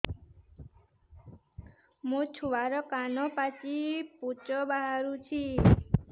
ମୋ ଛୁଆର କାନ ପାଚି ପୁଜ ବାହାରୁଛି